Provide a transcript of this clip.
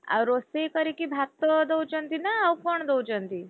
ଆଉ ରୋଷେଇ କରିକି ଭାତ ଦଉଛନ୍ତି ନା ଆଉ କଣ ଦଉଛନ୍ତି?